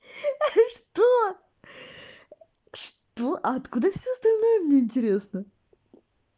что что а откуда всё остальное мне интересно